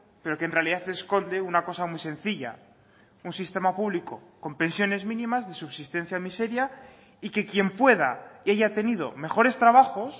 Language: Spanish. pero que en realidad esconde una cosa muy sencilla un sistema público con pensiones mínimas de subsistencia miseria y que quien pueda y haya tenido mejores trabajos